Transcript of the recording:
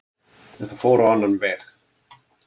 En það fór á annan veg.